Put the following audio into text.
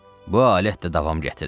"Bu alət də davam gətirər."